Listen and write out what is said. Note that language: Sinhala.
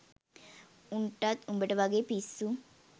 උන්ටත් උඹට වගේ පිස්සු